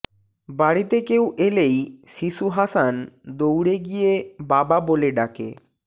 বাড়িতে কেউ এলেই শিশু হাসান দৌড়ে গিয়ে বাবা বলে ডাকে